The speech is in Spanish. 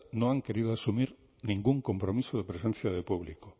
no han querido asumir ningún compromiso de presencia de público